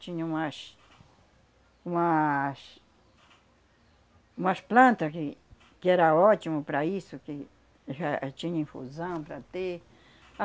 Tinha umas umas umas planta que que era ótimo para isso, que já a tinha infusão para ter.